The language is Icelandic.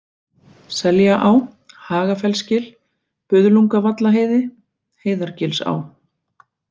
Seljaá, Hagafellsgil, Buðlungavallaheiði, Heiðargilsá